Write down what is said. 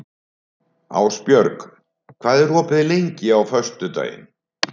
Ásbjörg, hvað er opið lengi á föstudaginn?